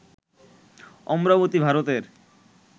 অমরাবতী, ভারতের